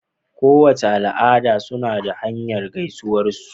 Kowace al'ada suna da hanya gaisuwar su